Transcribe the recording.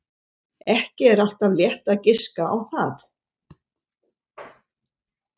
Ekki er alltaf létt að giska á það.